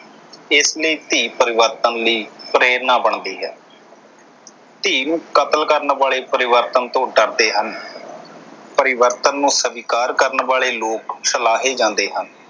ਇਸ ਲਈ ਧੀ ਪਰਿਵਰਤਨ ਲਈ ਪ੍ਰੇਰਨਾ ਬਣਦੀ ਹੈ। ਧੀ ਨੂੰ ਕਤਲ ਕਰਨ ਵਾਲੇ ਪਰਿਵਰਤਨ ਤੋਂ ਡਰਦੇ ਹਨ। ਪਰਿਵਰਤਨ ਨੂੰ ਸਵੀਕਾਰ ਕਰਨ ਵਾਲੇ ਲੋਕ ਸਾਲਾਹੇ ਜਾਂਦੇ ਹਨ।